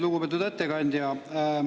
Lugupeetud ettekandja!